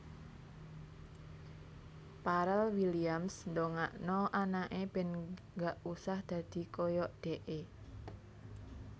Pharrel Williams ndongakno anake ben gak usah dadi koyok dekke